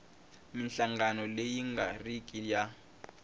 minhlangano leyi nga riki ya